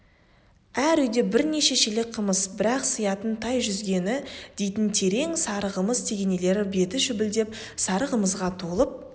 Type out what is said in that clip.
әр үйде бірнеше шелек қымыз бір-ақ сыятын тайжүзген дейтін терең сары қамыс тегенелер беті шүпілдеп сары қымызға толып